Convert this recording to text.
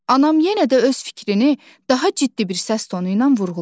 Anam yenə də öz fikrini daha ciddi bir səs tonu ilə vurğuladı.